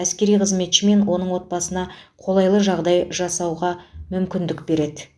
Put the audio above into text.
әскери қызметші мен оның отбасына қолайлы жағдай жасауға мүмкіндік береді